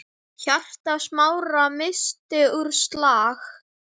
Hjarta Smára missti úr slag.